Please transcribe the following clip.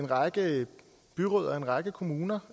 række byråd og en række kommuner